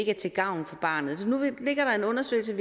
er til gavn for barnet så nu ligger der en undersøgelse